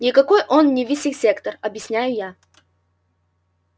никакой он не вивисектор объясняю